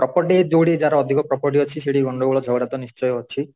property ଯୋଉଠି ଯାହାର ଅଧିକ property ଅଛି ସେଠି ଗଣ୍ଡଗୋଳ ଝଗଡା ତ ନିଶ୍ଚିୟ ଅଛି